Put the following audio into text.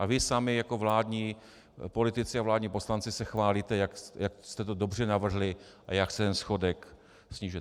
A vy sami jako vládní politici a vládní poslanci se chválíte, jak jste to dobře navrhli a jak se ten schodek snižuje.